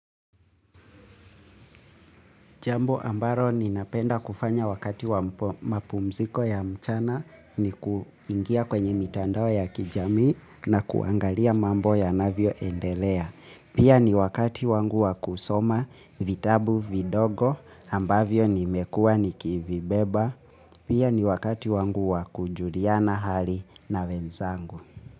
Jambo ambalo ninapenda kufanya wakati wa mapumziko ya mchana ni kuingia kwenye mitandao ya kijamii na kuangalia mambo yanavyoendelea. Pia ni wakati wangu wakusoma vitabu vidogo ambavyo nimekuwa nikivibeba. Pia ni wakati wangu wakujuliana hali na wenzangu.